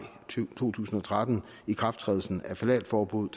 to tusind og tretten ikrafttrædelsen af ftalatforbuddet